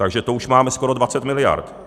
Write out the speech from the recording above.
Takže to už máme skoro 20 miliard.